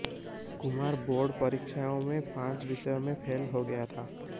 Kumar board परीक्षाओं में पांच विषयों में फेल हो गया था